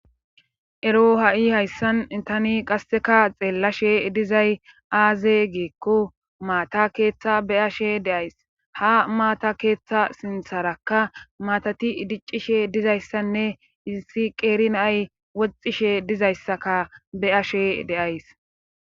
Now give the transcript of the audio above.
Ero ha7i hayssan itani qasseka xeellashe dizay aaze geekko maata keeththa be ashe deays ha maata keeththa sintharakka maatati idiccishe dizayssanne issi qeerinay woxxishe dizayssaka be ashe deays.